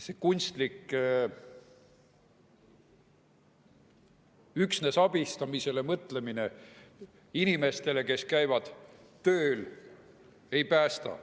See kunstlik mõtlemine üksnes abistamisele, inimestele, kes käivad tööl, see ei päästa.